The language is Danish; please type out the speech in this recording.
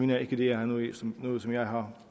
jeg ikke at det er noget som jeg har